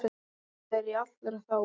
Það er í allra þágu.